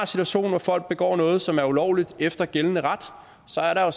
situation hvor folk begår noget som er ulovligt efter gældende ret så er der